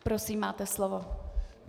Prosím, máte slovo.